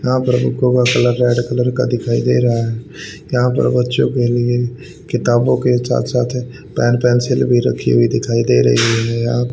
यहां पर बुकों का कलर रेड कलर का दिखाई दे रहा है यहां पर बच्चों के लिए किताबों के साथ साथ पेन पेंसिल भी रखी हुई दिखाई दे रही है।